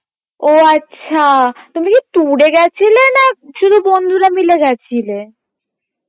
ও আচ্ছা তুমি কী tour এ গেছিলে না শুধু বন্ধুরা মিলে গেছিলে?